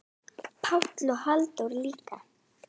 Pál og Halldór líka.